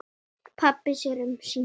Pabbi sér um sína.